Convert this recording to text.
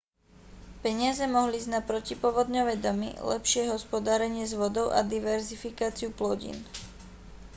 peniaze mohli ísť na protipovodňové domy lepšie hospodárenie s vodou a diverzifikáciu plodín